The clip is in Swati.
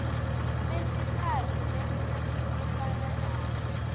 besitsatfu lekusetjentiswana nabo